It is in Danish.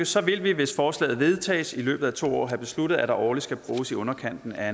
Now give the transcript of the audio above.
så vil vi hvis forslaget vedtages i løbet af to år have besluttet at der årligt skal bruges i underkanten af